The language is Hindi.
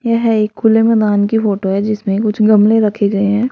यह एक खुले मैदान की फोटो है जिसमें कुछ गमले रखे गए हैं।